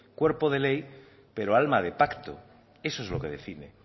cuerpo de ley pero alma de pacto eso es lo que define